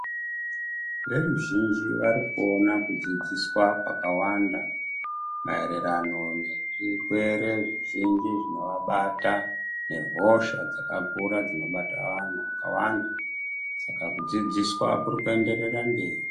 Veruzhinji varikuona kudzidziswa kwakawanda maererano nezvirwere zvizhinji zvinovabata nehosha dzakakura dzinobata vantu vakawanda, saka kudzidziswa kuri kuenderera mberi.